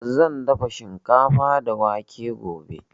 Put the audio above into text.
Zan dafa shikafa da wake gobe.